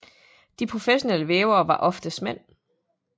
De professionelle vævere var oftest mænd